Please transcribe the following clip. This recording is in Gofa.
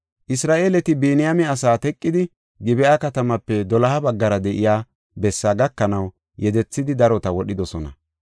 Isra7eeleti Biniyaame asaa teqidi, Gib7a katamaape doloha baggara de7iya bessaa gakanaw yedethidi darota wodhidosona.